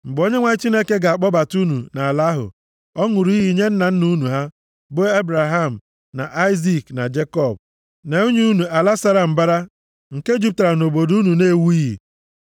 Mgbe Onyenwe anyị Chineke ga-akpọbata unu nʼala ahụ ọ ṅụrụ iyi nye nna nna unu ha, bụ Ebraham, na Aịzik, na Jekọb, na inye unu, ala sara mbara nke jupụtara nʼobodo unu na-ewughị,